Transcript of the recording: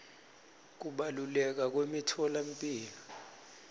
kubaluleka kwemitfolamphilo